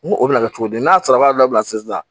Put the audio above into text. N ko o bɛna kɛ cogo di n'a sara y'a dabila sisan